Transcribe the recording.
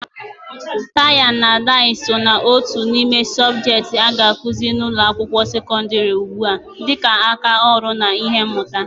Tai na dai so ná otu n'ime subjekti a ga-akụzi n'ụlọ akwụkwọ sekondri ugbua dịka aka ọrụ na ihe mmuta